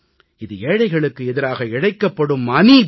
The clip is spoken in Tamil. இது ஏழைகளுக்கு எதிராக இழைக்கப்படும் அநீதி